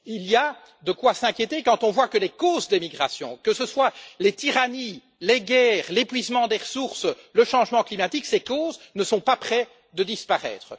Il y a de quoi s'inquiéter quand on voit que les causes des migrations que ce soient les tyrannies, les guerres, l'épuisement des ressources ou le changement climatique ne sont pas près de disparaître.